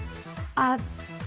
að